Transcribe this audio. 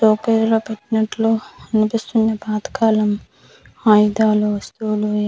ఒకేలా ప్రెగ్నెంట్ లో అనిపిస్తుంది పాతకాలం ఆయుధాలు వస్తువులు ఈ--